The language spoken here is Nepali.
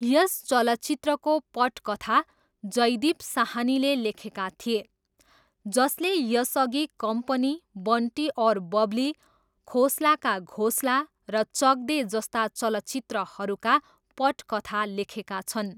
यस चलचित्रको पटकथा जयदीप साहनीले लेखेका थिए, जसले यसअघि कम्पनी, बन्टी और बबली, खोसला का घोसला र चक दे जस्ता चलचित्रहरूका पटकथा लेखेका छन्।